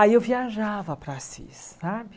Aí eu viajava para Assis, sabe?